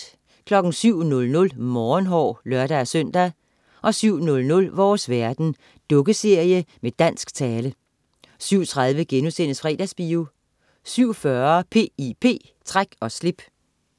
07.00 Morgenhår (lør-søn) 07.00 Vores store verden. Dukkeserie med dansk tale 07.30 Fredagsbio* 07.40 P.I.P. Træk og slip